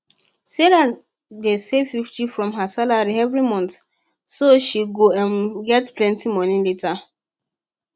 sarah dey save 50 from her salary every month so she go um get plenty money later